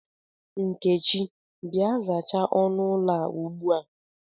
Nkechi, Bịa, zachaa ọnụ ụlọ a ubua ubua!